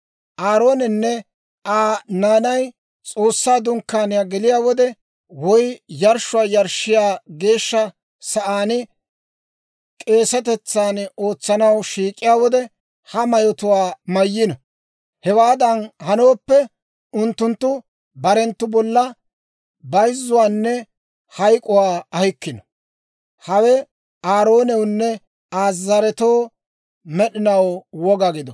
Aaroonenne Aa naanay S'oossaa Dunkkaaniyaa geliyaa wode, woy yarshshuwaa yarshshiyaa geeshsha sa'aan k'eesatetsan ootsanaw shiik'iyaa wode, ha mayotuwaa mayno. Hewaadan hanooppe, unttunttu barenttu bolla bayzzuwaanne hayk'k'uwaa ahikkino. «Hawe Aaroonawunne Aa zaretoo med'inaw woga gido.